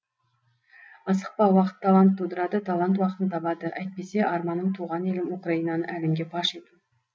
асықпа уақыт талант тудырады талант уақытын табады әйтпесе арманым туған елім украинаны әлемге паш ету